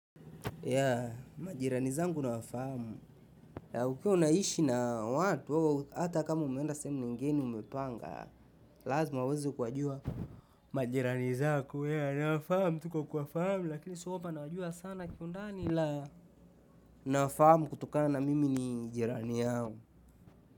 Yea, majirani zangu nawafamu, yea ukiwa unaishi na watu, au hata kama umeenda sehemu lingine umepanga, lazima waweze kuwajua majirani zako yea nawafahamu, tu kwa kuwafahamu, lakini sio kwamba nawajua sana kiundani la nawafamu kutokana na mimi ni jirani yao.